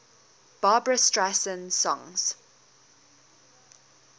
barbra streisand songs